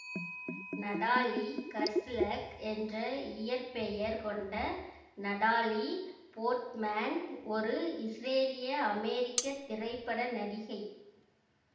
Natalie Hershlag என்ற இயற்பெயர் கொண்ட நடாலீ போர்ட்மேன் ஒரு இசுரேலியஅமெரிக்கத் திரைப்பட நடிகை